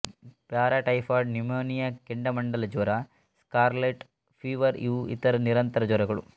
paratyphoid pneumonia ಕೆಂಡಾಮಂಡಲಜ್ವರ scarlet fever ಇವು ಇತರ ನಿರಂತರ ಜ್ವರಗಳು